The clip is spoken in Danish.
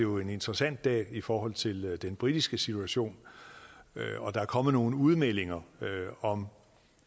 en interessant dag i forhold til den britiske situation og der er kommet nogle udmeldinger om